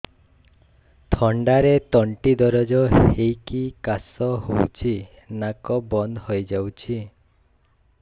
ଥଣ୍ଡାରେ ତଣ୍ଟି ଦରଜ ହେଇକି କାଶ ହଉଚି ନାକ ବନ୍ଦ ହୋଇଯାଉଛି